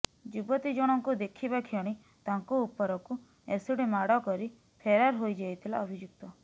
ଯୁବତୀ ଜଣଙ୍କୁ ଦେଖିବା କ୍ଷଣି ତାଙ୍କ ଉପରକୁ ଏସିଡ ମାଡ କରି ଫେରାର ହୋଇଯାଇଥିଲା ଅଭିଯୁକ୍ତ